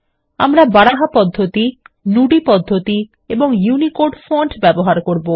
আমরা বারাহা পদ্ধতি নুদি পদ্ধতি এবং ইউনিকোড ফন্ট ব্যবহার করব